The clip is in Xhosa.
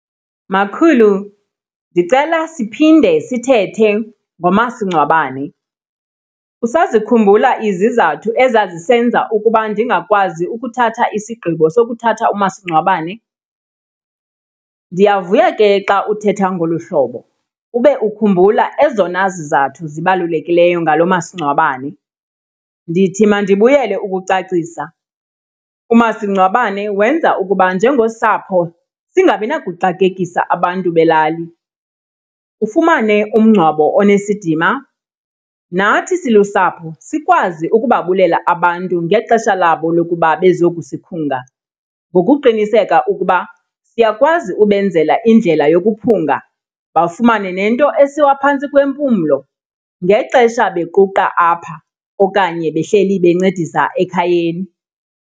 Makhulu, ndicela siphinde sithethe ngomasingcwabane. Usazikhumbula izizathu ezazisenza ukuba ndingakwazi ukuthatha isigqibo sokuthatha umasingcwabane? Ndiyavuya ke xa uthetha ngolu hlobo, ube ukhumbula ezona zizathu zibalulekileyo ngalo masingcwabane. Ndithi mandibuyele ukucacisa. Umasingcwabane wenza ukuba njengosapho singabi nakuxakekisa abantu belali, ufumane umngcwabo onesidima. Nathi silusapho sikwazi ukubabulela abantu ngexesha labo lokuba bezokusikhunga ngokuqiniseka ukuba siyakwazi ubenzela indlela yokuphunga bafumane nento esiwa phantsi kwempumlo ngexesha bequqa apha okanye behleli bencedisa ekhayeni.